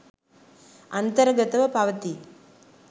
අන්තර්ගතව පවතී.